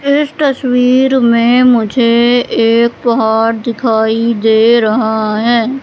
इस तस्वीर में मुझे एक पहाड़ दिखाई दे रहा है।